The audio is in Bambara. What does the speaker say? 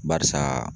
Barisa